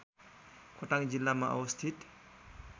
खोटाङ जिल्लामा अवस्थित